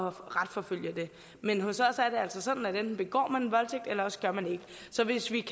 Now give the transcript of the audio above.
at retsforfølge dem men hos os socialdemokrater er det altså sådan at enten begår man en voldtægt eller også gør man ikke så hvis vi